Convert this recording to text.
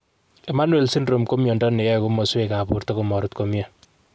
Emanuel syndrome ko miondo neyoe komoswek ap porto komorut komie.